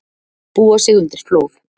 Búa sig undir flóð